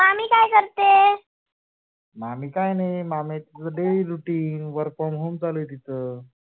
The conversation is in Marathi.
मामी काही नाही, मामीच daily routine work from home चालू आहे तीच.